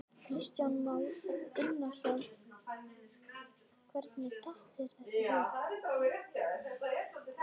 Kristján Már Unnarsson: Hvernig datt þér þetta í hug?